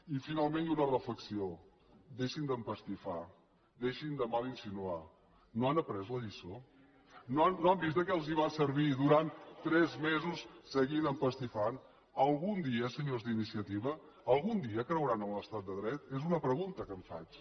i finalment i una reflexió deixin d’empastifar deixin de mal insinuar no han après la lliçó no han vist de què els va servir durant tres mesos seguir empastifant algun dia senyors d’iniciativa algun dia creuran en l’estat de dret és una pregunta que em faig